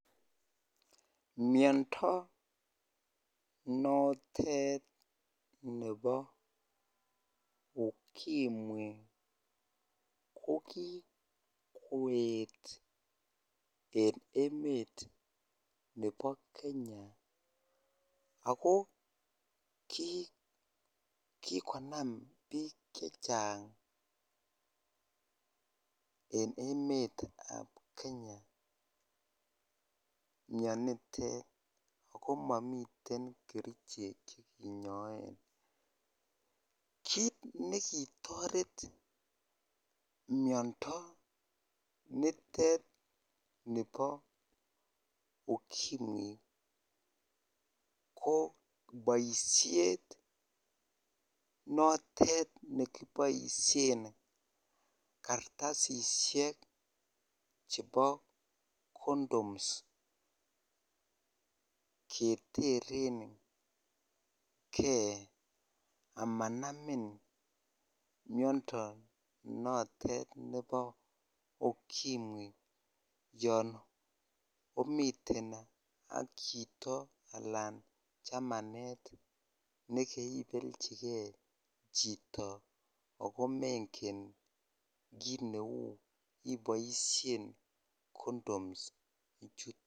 Miondo notet nebo ukimwi kokikoyet en emet nebo Kenya ak ko kikonam biik chechang en emetab Kenya mionitet ak ko momii kerichek chekinyoen, kiit nekitoret miondo nitet nibo ukimwi ko boishet notet nekiboishen kartasishek chebo condoms keterenge amanamin miondo notet nebo ukimwi yoon omiten ak chito alaan chamanet nekebelchike chito ak ko mengen kiit neu iboishen condoms ichuton.